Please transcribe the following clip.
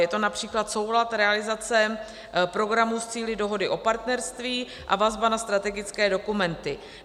Je to například soulad realizace programů s cíli dohody o partnerství a vazba na strategické dokumenty.